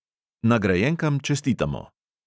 Nagrajenkam čestitamo!